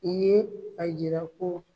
I ye a jira ko